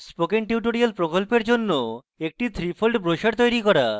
spoken tutorial প্রকল্পের জন্য একটি 3fold ব্রোসর তৈরী করুন